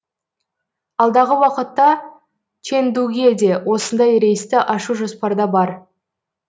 алдағы уақытта чэндуге де осындай рейсті ашу жоспарда бар